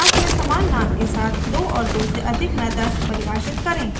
class में समान name के साथ दो और दो से अधिक methods परिभाषित करें